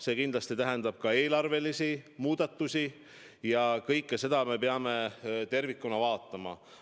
See muidugi tähendab ka eelarvelisi muudatusi ja kõike seda me peame tervikuna vaatama.